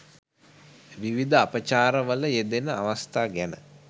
විවිධ අපචාරවල යෙදෙන අවස්ථා ගැන